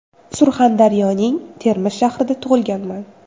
Surxondaryoning Termiz shahrida tug‘ilganman.